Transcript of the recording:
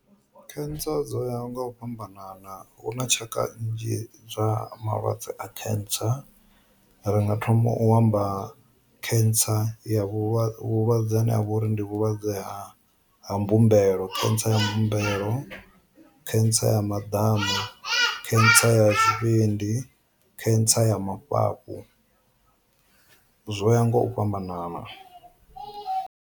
Khentsa dzo ya nga u fhambanana hu na tshaka nnzhi zwa malwadze a khentsa, ringa thoma u amba khentsa ya vhulwadze vhulwadze ane a vha uri ndi vhulwadze hani a mbumbelo khentsa ya mbumbelo, khentsa ya maḓamu, khentsa ya zwi vhindi, cancer ya mafhafhu. Zwo ya nga u fhambanana.